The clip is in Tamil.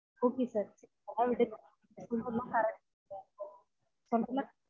Ok sir அவர்ட்ட நீங்க சொல்ரது எல்லான் correct